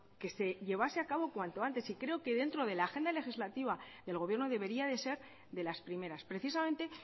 que se llevase a cabo cuanto antes creo que dentro de la agenda legislativa del gobierno debería de ser de las primeras precisamente